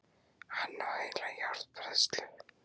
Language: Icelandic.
Hann á heila járnbræðslu!